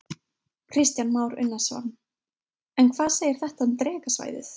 Kristján Már Unnarsson: En hvað segir þetta um Drekasvæðið?